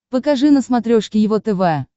покажи на смотрешке его тв